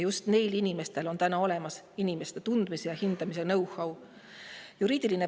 Just neil inimestel on olemas inimeste tundmise ja hindamise know-how.